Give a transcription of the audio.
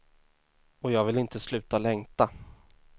Och jag vill inte sluta längta.